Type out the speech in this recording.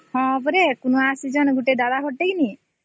ହଁ ପରା ସେ କୁଣିଆ ଆସିଛନ୍ତି ଗୋଟେ ଦବ ହଟେଇ